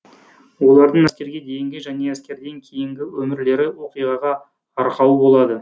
олардың әскерге дейінгі және әскерден кейінгі өмірлері оқиғаға арқау болады